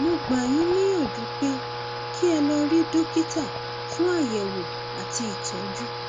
mo gbà yín níyànjú pé kí ẹ lọ rí dókítà fún àyẹwò àti ìtọjú